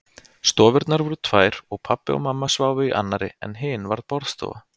Stofurnar voru tvær og pabbi og mamma sváfu í annarri en hin var borðstofa.